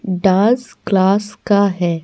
Dance class का है ।